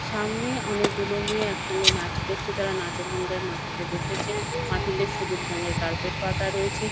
সামনে অনেকগুলো মেয়ে একসঙ্গে নাচ করছে। তারা নাচের মঙ্গাই মাটিতে বসেছে । মাটিতে সবুজ রঙের কার্পেট পাতা রয়েছে ।